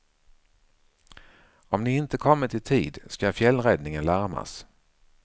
Om ni inte kommit i tid ska fjällräddningen larmas.